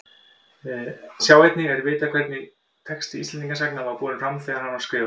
Sjá einnig Er vitað hvernig texti Íslendingasagnanna var borinn fram þegar hann var skrifaður?